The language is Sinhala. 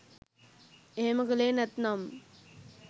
එහෙම කළේ නැත්නම්